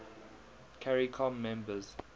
caricom members